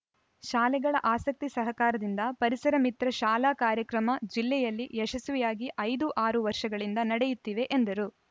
ಶಾಲೆಗಳ ಆಸಕ್ತಿ ಸಹಕಾರದಿಂದ ಪರಿಸರಮಿತ್ರ ಶಾಲಾ ಕಾರ‍್ಯಕ್ರಮ ಜಿಲ್ಲೆಯಲ್ಲಿ ಯಶಸ್ವಿಯಾಗಿ ಐದು ಆರು ವರ್ಷಗಳಿಂದ ನಡೆಯುತ್ತಿವೆ ಎಂದರು